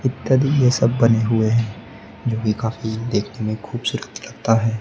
इत्यादि ये सब बने हुए हैं जो की काफी देखने में खूबसूरत लगता है।